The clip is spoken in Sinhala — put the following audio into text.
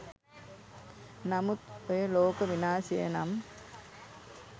නමුත් ඔය ලෝක විනාශය නම්